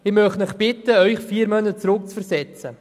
Ich möchte Sie bitten, sich vier Monate zurückzuversetzen.